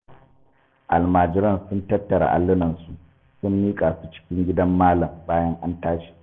Almajiran sun tattara allunansu, sun miƙa su cikin gidan malam bayan an tashi.